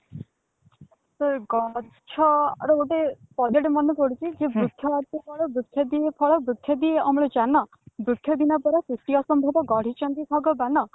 ତ ଗଛ ର ଗୋଟେ ଗୋଟେ ପଦ୍ୟ ତେ ମାନେ ପଡୁଛି ଯେ ବୃକ୍ଷ ଅଟେ ବଳ ବୃକ୍ଷ ଦିଏ ଫଳ ବୃକ୍ଷ ଦିଏ ଅମ୍ଳଜାନ ବୃକ୍ଷ ବିନା ପରା ସୃଷ୍ଟି ଅସମ୍ଭବ ଗଢିଛନ୍ତି ଭଗବାନ